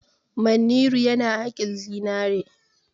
Manniru yana haƙin zinare.